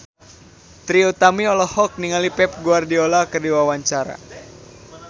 Trie Utami olohok ningali Pep Guardiola keur diwawancara